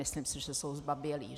Myslím si, že jsou zbabělí.